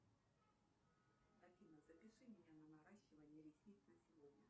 афина запиши меня на наращивание ресниц на сегодня